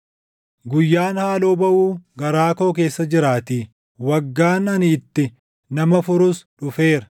Guyyaan haaloo baʼuu garaa koo keessa jiraatii; waggaan ani itti nama furus dhufeera.